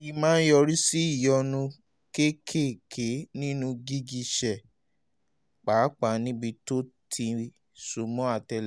èyí máa ń yọrí sí ìyọnu kéékèèké nínú gìgísẹ̀ pàápàá níbi tó ti so mọ́ àtẹ́lẹsẹ̀